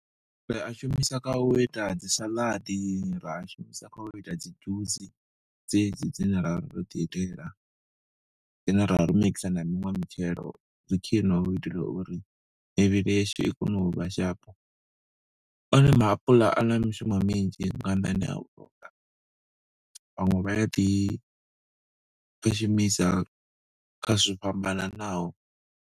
Ri a shumisa kha u ita dzi saladi, ra a shumisa kha u ita dzi dzhusi dzedzi dzine ra ro ḓi itela dzine ra vha ro mikisa na miṅwe mitshelo. Zwi khwine hu itela uri mivhili yashu i kone u vha sharp, one maapuḽa a na mishumo minzhi nga nnḓani a u , vhaṅwe vha ya ḓi shumisa kha zwo fhambananaho.